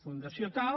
fundació tal